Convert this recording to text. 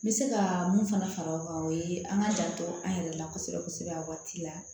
N bɛ se ka mun fana fara o kan o ye an ka janto an yɛrɛ la kosɛbɛ kosɛbɛ a waati la